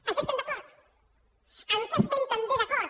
en què estem d’acord en què estem també d’acord